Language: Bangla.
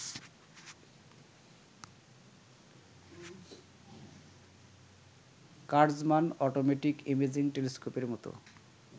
কাটজমান অটোমেটিক ইমেজিং টেলিস্কোপের মত